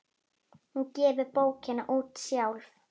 Hún gefur bókina út sjálf.